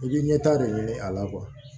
I bi ɲɛta de ɲini a la